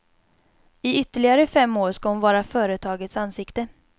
I ytterligare fem år ska hon vara företagets ansikte.